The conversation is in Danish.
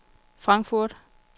Frankfurt